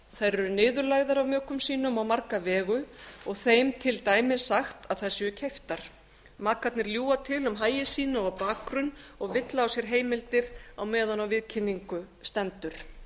eru niðurlægðar af mökum sínum á marga vegu og þeim til dæmis sagt að þær séu keyptar makarnir ljúga til um hagi sína og bakgrunn og villa á sér heimildir meðan á viðkynningu stendur